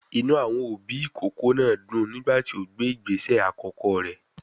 Inú àwọn òbí ìkókó náà dùn nígbà tí ó gbé ìgbésẹ àkọ́kọ́ rẹ̀.